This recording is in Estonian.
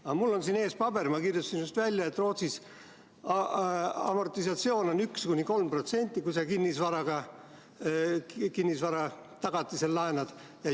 Aga mul on siin ees paber: ma kirjutasin just välja, et Rootsis amortisatsioon on 1–3%, kui sa kinnisvara tagatisel laenad.